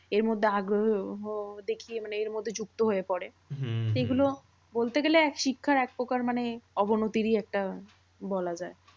এরমধ্যে আগ্রহ দেখিয়ে মানে এরমধ্যে যুক্ত হয়ে পরে। এগুলো বলতে গেলে শিক্ষার একপ্রকার মানে অবনতিরই একটা বলা যায়।